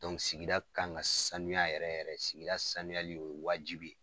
sigida kan ka sanuya yɛrɛ yɛrɛ sigida sanuyali o ye wajibi ye.